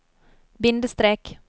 bindestrek